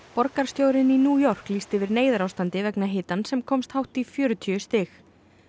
borgarstjórinn í New York lýsti yfir neyðarástandi vegna hitans sem komst hátt í fjörutíu stig